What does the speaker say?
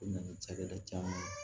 U nana ni cakɛda caman ye